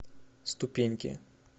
ступеньки